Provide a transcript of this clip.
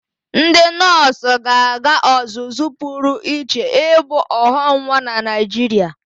Ndị nọọsụ ga-aga ọzụzụ pụrụ iche ibu ọghọnwa na Naịjirịa.